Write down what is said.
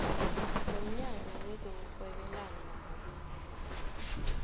nomnyango wezokurhwebelana namabubulo